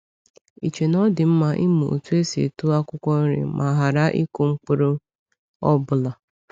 Ì chee na ọ dị mma ịmụ otú esi eto akwụkwọ nri ma ghara ịkụ mkpụrụ ọbụla?